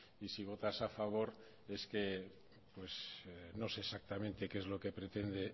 y si votas a favor es que no sé exactamente qué es lo que pretende